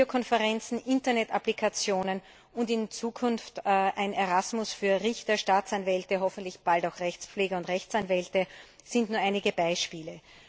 Videokonferenzen, Internet Anwendungen und in Zukunft ein Erasmus Programm für Richter, Staatsanwälte und hoffentlich bald auch Rechtspfleger und Rechtsanwälte sind nur einige Beispiele.